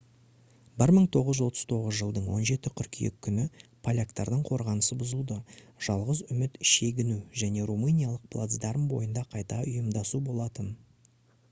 1939 жылдың 17 қыркүйек күні поляктардың қорғанысы бұзылды жалғыз үміт шегіну және румыниялық плацдарм бойында қайта ұйымдасу болатын